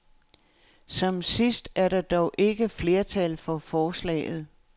Som sidst er der dog ikke flertal for forslaget.